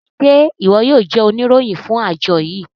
Ṣe iwọ yoo jẹ oniroyin fun ajo yii?